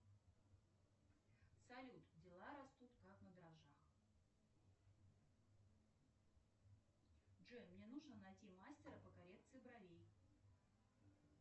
салют дела растут как на дрожжах джой мне нужно найти мастера по коррекции бровей